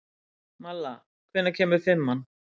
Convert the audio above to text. Malla, hvenær kemur fimman?